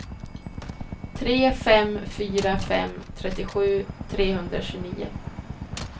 tre fem fyra fem trettiosju trehundratjugonio